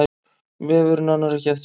Vefurinn annar ekki eftirspurn